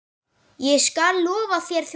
Ég skal lofa þér því.